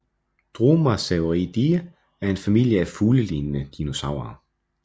Dromaeosauridae er en familie af fuglelignende dinosaurer